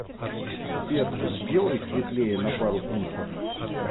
сбер сделай светлее на пару пунктов